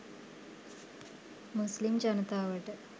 මුස්ලිම් ජනතාවට.